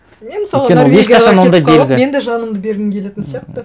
мен мысалы норвегияға кетіп қалып мен де жанымды бергім келетін сияқты